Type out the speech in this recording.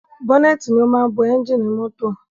Bọ́nẹ́tì ni o máa ń bo ẹ́ngìnì mọ́tọ̀.